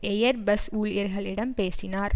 air bus ஊழியர்களிடம் பேசினார்